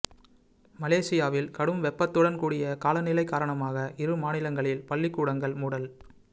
மலேஷியாவில் கடும் வெப்பத்துடன் கூடிய காலநிலை காரணமாக இரு மாநிலங்களில் பள்ளிக்கூடங்கள் மூடல்